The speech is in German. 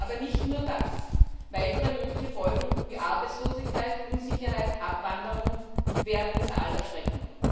Aber nicht nur das. Weitere mögliche Folgen wie Arbeitslosigkeit, Unsicherheit oder auch Abwanderung wären unser aller Schrecken.